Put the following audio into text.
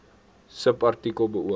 subartikel beoog